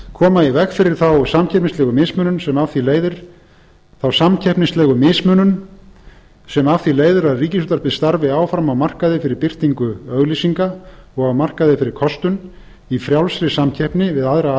koma í veg fyrir þá samkeppnislegu mismunun sem af því leiðir að ríkisútvarpið starfi áfram á markaði fyrir birtingu auglýsinga og á markaði fyrir kostun í frjálsri samkeppni við aðra